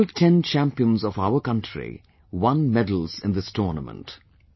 All Ten champions of our country won medals in this tournament